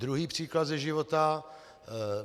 Druhý příklad ze života.